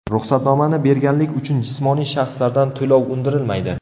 Ruxsatnomani berganlik uchun jismoniy shaxslardan to‘lov undirilmaydi.